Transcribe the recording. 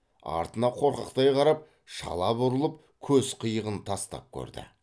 артына қорқақтай қарап шала бұрылып көз қиығын тастап көрді